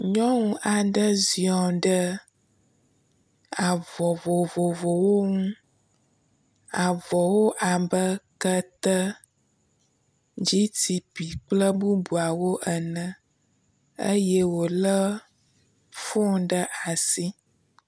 Nyɔŋu aɖe ziɔ̃ ɖe avɔ vovovowo ŋu, avɔwo abe kete, GTP, kple bubuawo ene eye wòlé fone ɖe asi.